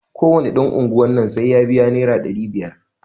Ko wane ɗan unguwar nan sai ya biya naira ɗari biyar.